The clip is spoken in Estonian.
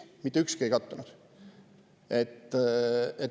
Mitte ükski ei kattunud.